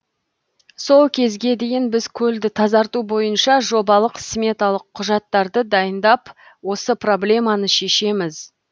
сол кезге дейін біз көлді тазарту бойынша жобалық сметалық құжаттарды дайындап осы проблеманы шешеміз